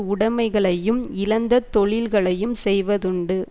உடமைகளையும் இழந்த தொழில்களையும் செய்வதுண்டு